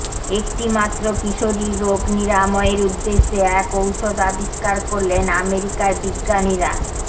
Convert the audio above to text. একটিমাত্র কিশোরীর রোগ নিরাময়ের উদ্দেশ্যে এক ঔষধ আবিষ্কার করলেন আমেরিকার বিজ্ঞানীরা